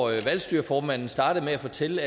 valgstyreformanden startede med at fortælle